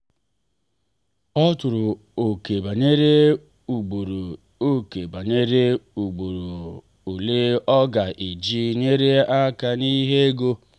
ọ tụrụ ókè banyere ugboro ókè banyere ugboro ole ọ ga eji nyere aka n’ihe ego.